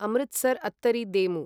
अमृतसर् अत्तरि देमु